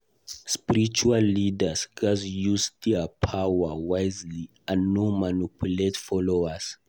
Spiritual leaders gatz use their power wisely and no manipulate followers.